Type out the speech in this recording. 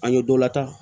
An ye dɔ lataa